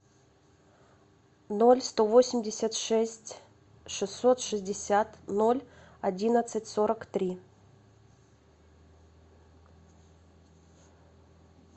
ноль сто восемьдесят шесть шестьсот шестьдесят ноль одиннадцать сорок три